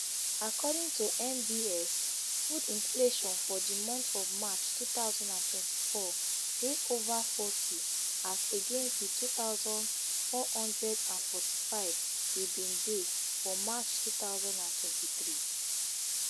according to nbs food inflation for di month of march two thousand and twenty-four dey over forty as against di two thousand, four hundred and forty-five e bin dey for march two thousand and twenty-three